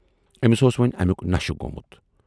ٲمِس اوس وۅنۍ امیُک نشہِ گومُت۔